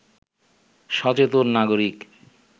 সচেতন নাগরিক